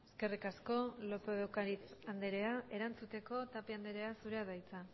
eskerrik asko lópez de ocariz anderea erantzuteko tapia anderea zurea da hitza